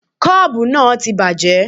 Koopu náà ti bàjẹ́.